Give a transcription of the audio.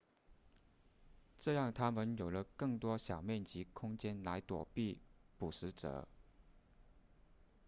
这让它们有了更多小面积空间来躲避捕食者